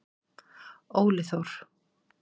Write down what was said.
Óli Þór.